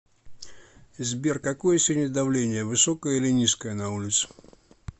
сбер какое сегодня давление высокое или низкое на улице